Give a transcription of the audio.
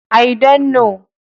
I don't know.